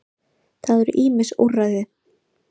Það eru ýmis úrræði.